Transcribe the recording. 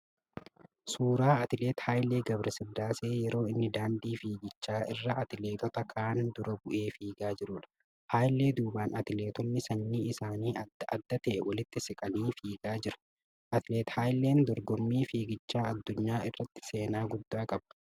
Suuraa atileet Haaylee Gabira Sillaasee yeroo inni daandii fiigichaa irra atileetota ka'aan dura bu'ee fiigaa jiruudha. Haayilee duubaan atileetonni sanyiin isaanii adda adda ta'e walitti siqanii fiigaa jiru. Atileet Haayileen dorgommii fiigichaa addunyaa irratti seenaa guddaa qaba.